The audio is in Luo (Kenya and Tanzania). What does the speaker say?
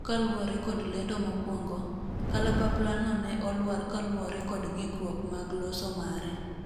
kaluwore kod lendo mokwongo, kalapaplano ne olwar kaluwore kod ng'ikruok mag loso mare